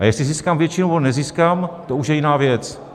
A jestli získám většinu, nebo nezískám, to už je jiná věc.